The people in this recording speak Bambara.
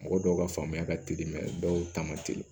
Mɔgɔ dɔw ka faamuya ka teli dɔw ta man teli